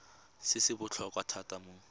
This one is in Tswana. se se botlhokwa thata mo